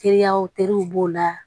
Teliyaw teriw b'o la